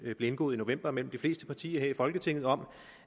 der blev indgået i november mellem de fleste partier her i folketinget om